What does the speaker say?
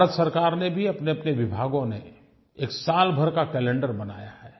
भारत सरकार ने भी अपनेअपने विभागों ने एक सालभर का कैलेंडर बनाया है